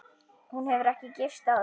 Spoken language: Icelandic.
Hún hefur ekki gifst aftur.